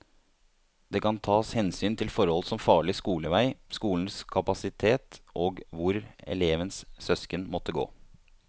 Det kan tas hensyn til forhold som farlig skolevei, skolenes kapasitet og hvor elevens søsken måtte gå.